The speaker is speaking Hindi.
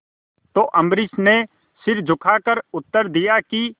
तो अम्बरीश ने सिर झुकाकर उत्तर दिया कि